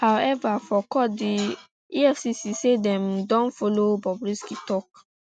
however for court di um efcc say dem um don follow bobrisky tok